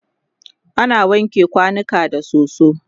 ana wanke kwanuka da soso